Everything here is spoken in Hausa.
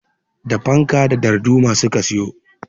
Da fanka da darduma su ka siyo.